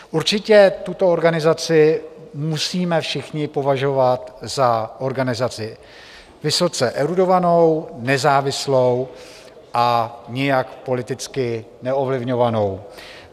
Určitě tuto organizaci musíme všichni považovat za organizaci vysoce erudovanou, nezávislou a nijak politicky neovlivňovanou.